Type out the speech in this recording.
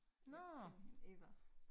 Øh Eva